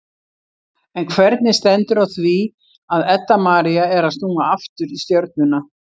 En hvernig stendur á því að Edda María er að snúa aftur í Stjörnuna?